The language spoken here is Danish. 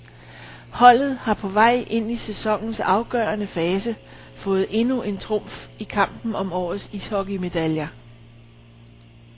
Holdet har på vej ind i sæsonens afgørende fase fået endnu en trumf i kampen om årets ishockeymedaljer.